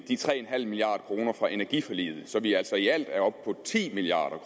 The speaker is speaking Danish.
de tre milliard kroner fra energiforliget så vi altså i alt er oppe på ti milliard